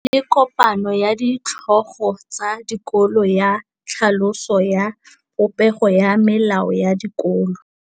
Go na le kopanô ya ditlhogo tsa dikolo ya tlhaloso ya popêgô ya melao ya dikolo.